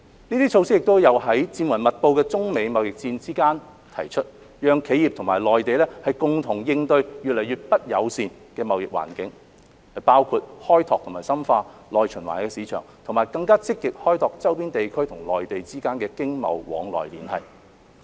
這些措施亦有在戰雲密布的中美貿易戰之間提出，讓企業和內地共同應對越來越不友善的貿易環境，包括開拓和深化內循環的市場，以及更積極開拓周邊地區和內地之間的經貿往來連繫。